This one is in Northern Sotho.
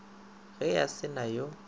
ge a se na yo